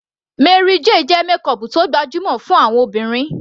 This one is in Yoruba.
Mary Kay jẹ́ makeup tó gbajúmọ̀ fún àwọn obìnrin